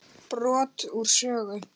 Brot úr sögu